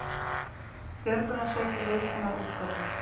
Björgunarsveitir viðbúnar útköllum